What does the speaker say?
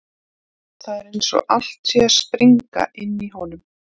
Það er eins og allt sé að springa inni í honum.